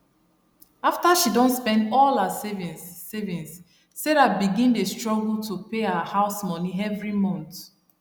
after she don spend all her savings savings sarah begin dey struggle to pay her house moni every month